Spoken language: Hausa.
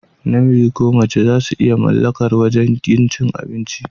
Namiji ko mace zasu iya mallakar wajan cin abinci.